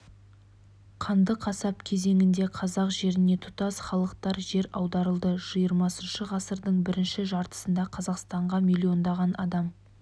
қанды қасап кезеңінде қазақ жеріне тұтас халықтар жер аударылды жиырмасыншы ғасырдың бірінші жартысында қазақстанға миллиондаған адам